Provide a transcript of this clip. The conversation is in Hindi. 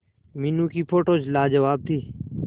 मीनू की फोटोज लाजवाब थी